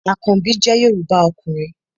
Àkanbí jẹ́ Yorùbá ọkùnrin